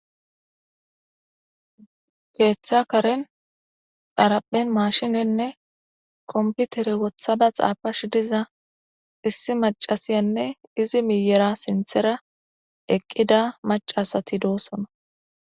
keeththa karen xaraphen mashinenne komputere wothada xaafash diza issi macasiyanne izi miyera sinthera eqqida macasati doosona